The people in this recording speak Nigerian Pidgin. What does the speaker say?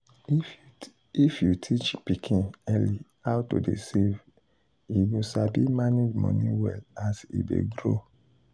if you teach pikin early how to dey save e go sabi manage money well as e dey grow.